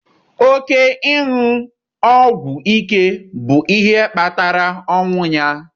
Oke ịṅụ ọgwụ ike bụ ihe kpatara ọnwụ ya.